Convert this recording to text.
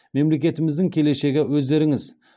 мемлекетіміздің келешегі өздеріңіз